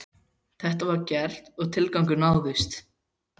Þetta var gert og tilgangurinn náðist.